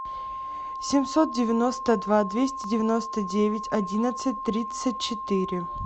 семьсот девяносто два двести девяносто девять одиннадцать тридцать четыре